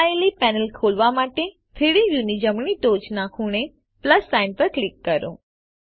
છુપાયેલી પેનલ ખોલવા માટે 3ડી વ્યુની જમણી ટોચના ખૂણે પ્લસ સાઇન પર ક્લિક કરો